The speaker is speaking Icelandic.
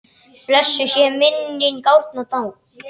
Blessuð sé minning Árna mágs.